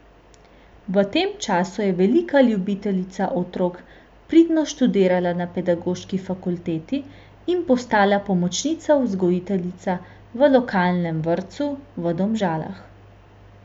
V tem času je velika ljubiteljica otrok pridno študirala na Pedagoški fakulteti in postala pomočnica vzgojiteljica v lokalnem vrtcu v Domžalah.